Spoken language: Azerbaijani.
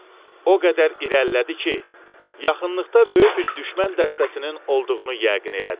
O qədər irəlilədi ki, yaxınlıqda böyük bir düşmən dəstəsinin olduğunu yəqin elədi.